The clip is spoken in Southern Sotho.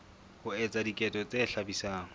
ho etsa diketso tse hlabisang